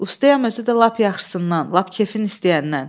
Ustayam, özü də lap yaxşısından, lap kefin istəyəndən.